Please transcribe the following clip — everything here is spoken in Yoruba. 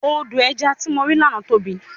Odò ẹja tí mo rí lánàá tóbi.